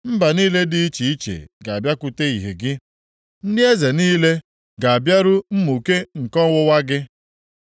Mba niile dị iche iche ga-abịakwute ìhè gị, ndị eze niile ga-abịaru mmụke nke ọwụwa gị.